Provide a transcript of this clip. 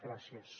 gràcies